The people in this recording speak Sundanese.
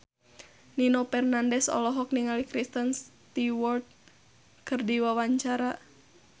Nino Fernandez olohok ningali Kristen Stewart keur diwawancara